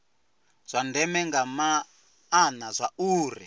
zwa ndeme nga maana zwauri